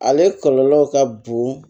Ale kɔlɔlɔ ka bon